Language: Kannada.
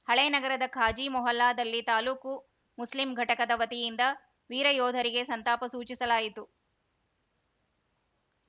ಹಳೇನಗರದ ಖಾಜೀ ಮೊಹಲ್ಲಾದಲ್ಲಿ ತಾಲೂಕು ಮುಸ್ಲಿಂ ಘಟಕದ ವತಿಯಿಂದ ವೀರಯೋಧರಿಗೆ ಸಂತಾಪ ಸೂಚಿಸಲಾಯಿತು